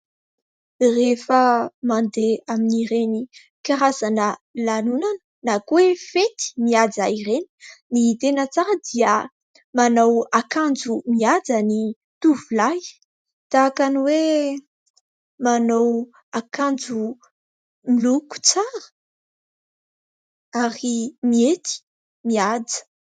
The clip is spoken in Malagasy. Rehefa mandeha amin'ny ireny karazana lanonana na koa hoe fety mihaja ireny. Ny tena tsara dia manao akanjo mihaja ny tovolahy tahaka ny hoe manao akanjo miloko tsara ary mihety mihaja.